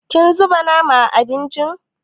Kin zuba nama a abincin?